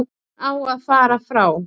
Hún á að fara frá.